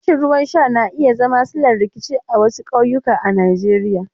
Rashin ruwan sha na iya zama sillar rikici a wasu ƙauyuka a Najeriya.